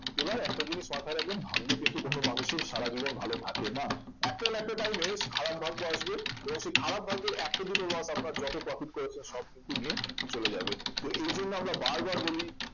এবার একটা জিনিস মাথায় রাখবেন ভাগ্য কিন্তু কোন মানুষের সারা জীবন ভালো থাকে না একটা না একটা time এ খারাপ ভাগ্য আসবে এবং সে খারাপ ভাগ্যের একটা দুটো loss আপনার যত profit করেছেন সব কিন্তু নিয়ে চলে যাবে তো এই জন্য আমরা বারবার বলি